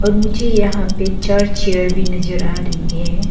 और मुझे यहां पे चार चेयर भी नजर आ रही है।